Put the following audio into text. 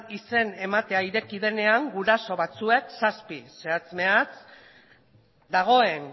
izen ematea ireki denean guraso batzuek zazpi zehatz mehatz dagoen